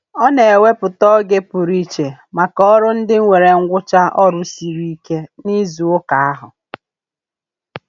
Ọ na-ewepụta oge pụrụ iche maka ọrụ ndị nwere ngwụcha ọrụ siri ike n'izuụka ahụ.